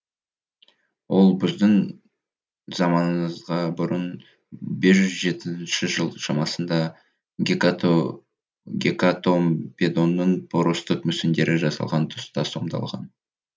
ол біздің заманымызға бұрынғы бес жүз жетпісінші жыл шамасында гекатомпедонның поростық мүсіндері жасалған тұста сомдалған